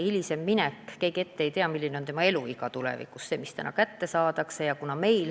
Oleme ausad, keegi ju ette ei tea, kui pikk on tema eluiga.